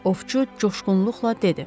Ovçu coşqunluqla dedi.